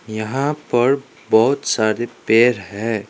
यहां पर बहोत सारे पेर हैं।